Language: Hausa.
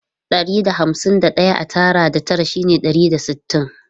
Ɗari da hamsin da ɗaya a tara da tara shine ɗari da sittin.